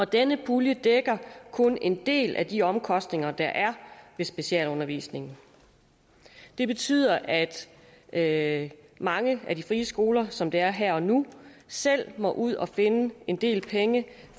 denne pulje dækker kun en del af de omkostninger der er ved specialundervisning det betyder at at mange af de frie skoler som det er her og nu selv må ud at finde en del penge